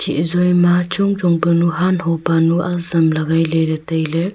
chi zoi ma chong chong panu hanho panu azam lagai leley tailey.